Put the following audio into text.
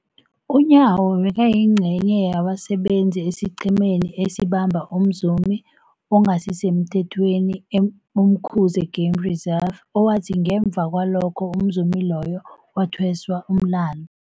UNyawo bekayingcenye yabasebenza esiqhemeni esabamba umzumi ongasisemthethweni e-Umkhuze Game Reserve, owathi ngemva kwalokho umzumi loyo wathweswa umlandu.